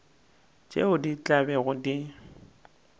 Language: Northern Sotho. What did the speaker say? tšeo di tla bego di